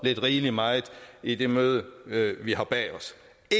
lidt rigeligt meget i det møde vi har bag os